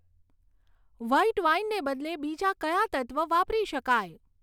white વાઈનને બદલે બીજા કયા તત્વ વાપરી શકાય